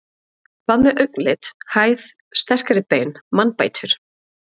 Hvað með augnlit, hæð, sterkari bein, mannbætur?